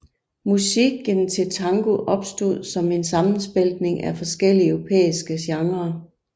Musikken til tango opstod som en sammensmeltning af forskellige europæiske genrer